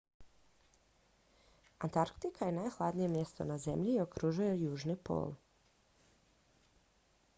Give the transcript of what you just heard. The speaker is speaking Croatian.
antarktika je nahladnije mjesto na zemlji i okružuje južni pol